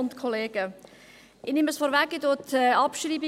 Ich bestreite die Abschreibung.